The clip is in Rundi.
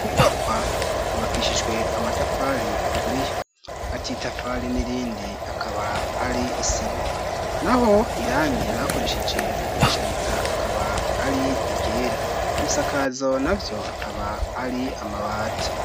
Inyubakwa yubakishijwe amatafari aturiye hagati yitafari n'irindi hakaba hari isima naho irangi bakoresheje mu kwishariza akaba ari i ryera, ibisakazo navyo akaba ari amabati.